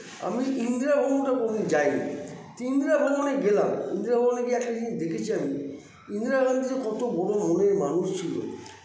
আমি ইন্দিরা ভবনটা কোনো দিন যাইনি তো ইন্দিরা ভবনে গেলাম ইন্দিরা ভবনে গিয়ে একটা জিনিস দেখেছি আমি ইন্দিরা গান্ধী যে কত বড়ো মনের মানুষ ছিল